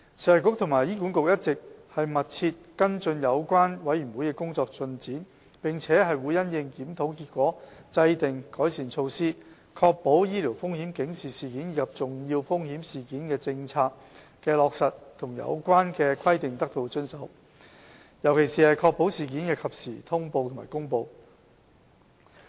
食衞局和醫管局一直密切跟進有關委員會的工作進展，並會因應檢討結果制訂改善措施，確保醫療風險警示事件及重要風險事件政策的落實和有關規定得到遵守，尤其是確保事件的及時通報和公布。